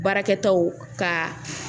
Baarakɛtaw ka